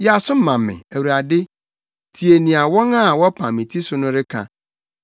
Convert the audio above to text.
Yɛ aso ma me, Awurade; tie nea wɔn a wɔpam me ti so no reka!